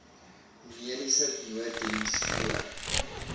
mediese nooddiens voor